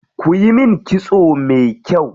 Kiyi min kitso me kyau.